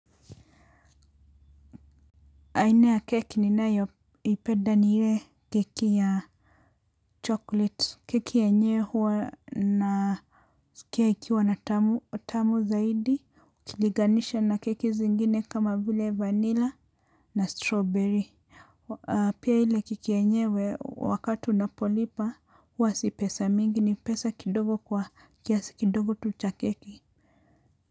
Aina ya keki ninayoipenda, ni ile keki ya chocolate. Keki yenyewe huwa na, keki huwa na tamu zaidi ukiliganisha na keki zingine kama vile vanilla na strawberry. Pia ile keki yenyewe, wakati unapolipa, huwa si pesa mingi, ni pesa kidogo kwa kiasi kidogo tu cha keki.